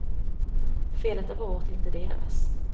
Felet är vårt, inte deras.